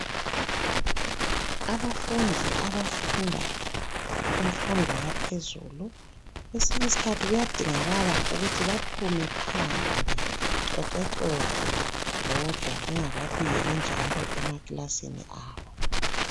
Abafundi abafunda imfundo yaphezulu kwesinye isikhathi kuyadingakala ukuthi baphume phandle bexoxexoxe bodwa bengakabuyeli njalo emakilasini abo